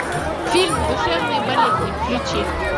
фильм душевные болезни включи